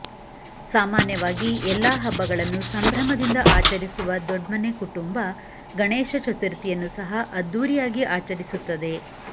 ಸಾಮಾನ್ಯವಾಗಿ ಎಲ್ಲಾ ಹಬ್ಬಗಳನ್ನು ಸಂಭ್ರಮದಿಂದ ಆಚರಿಸುವ ದೊಡ್ಮನೆ ಕುಟುಂಬ ಗಣೇಶ ಚತುರ್ಥಿ ಯನ್ನು ಸಹ ಅದ್ದೂರಿಯಾಗಿ ಆಚರಿಸುತ್ತದೆ